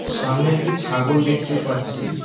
সামনে একটি ছাগল দেখতে পাচ্ছি।